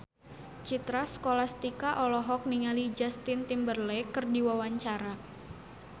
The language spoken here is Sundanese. Citra Scholastika olohok ningali Justin Timberlake keur diwawancara